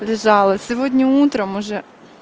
лежала сегодня утром уже